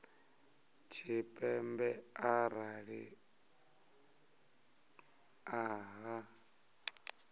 tshipembe arali vha nnḓa ha